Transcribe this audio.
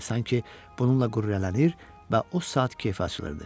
Sanki bununla qürurlanır və o saat kefi açılırdı.